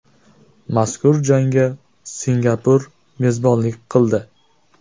Mazkur jangga Singapur mezbonlik qildi.